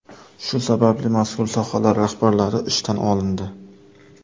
Shu sababli mazkur sohalar rahbarlari ishdan olindi.